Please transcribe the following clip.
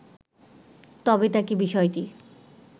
তবে তাঁকে বিষয়টি